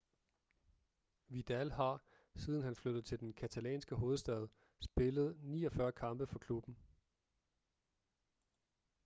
vidal har siden han flyttede til den catalanske hovedstad spillet 49 kampe for klubben